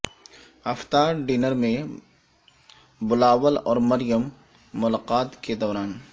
افطار ڈنر میں بلاول اور مریم ملاقات کے دوران